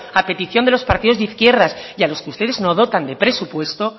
a petición de los partidos de izquierdas y a los que ustedes no dotan de presupuesto